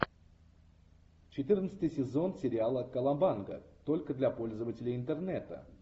четырнадцатый сезон сериала колобанга только для пользователей интернета